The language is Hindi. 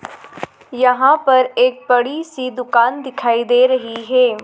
यहां पर एक बड़ी सी दुकान दिखाई दे रही है।